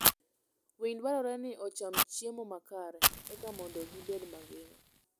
Winy dwarore ni ocham chiemo makare eka mondo gibed mangima.